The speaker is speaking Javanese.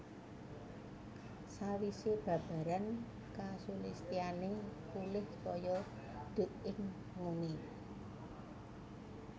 Sawisé babaran kasulistyané pulih kaya duk ing nguni